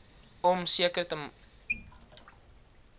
om seker te